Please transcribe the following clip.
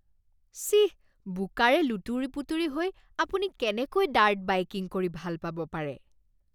চিঃ। বোকাৰে লুতুৰি পুতুৰি হৈ আপুনি কেনেকৈ ডাৰ্ট বাইকিং কৰি ভাল পাব পাৰে?